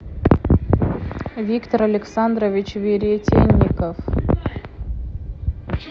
виктор александрович веретенников